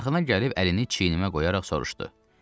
Yaxına gəlib əlini çiynimə qoyaraq soruştu: